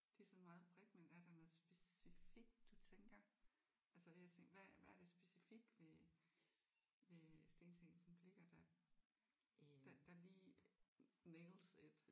Det er sådan meget bredt men er der noget specifikt du tænker? Altså jeg tænker hvad hvad er det specifikt ved ved Steen Steensen Blicher der der der lige nails it?